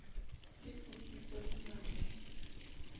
e fuputswa ho na ho